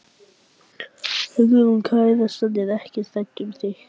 Hugrún: Kærastan er ekkert hrædd um þig?